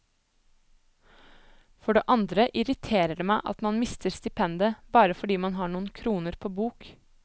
For det andre irriterer det meg at man mister stipendet bare fordi man har noen kroner på bok.